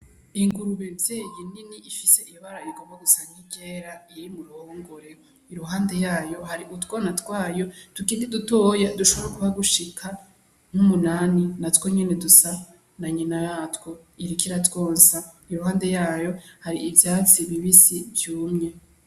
Ingurube mvyeyi nini ifise ibara rigomba gusa nk'iryera iri mu ruhongore, iruhande yayo hari utwana twayo tukiri dutoyi dushobora kuba dushika nk'umunani, natwo nyene dusa na nyina watwo, iriko iratwonsa. Iruhande yayo hari ivyatsi bibisi vyumye.